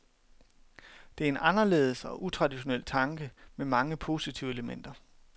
Det er en anderledes og utraditionel tanke med mange positive elementer.